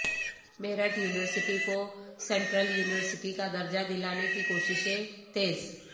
Meerut university کو central university کا درجہ دلانے کی کوششیں تیز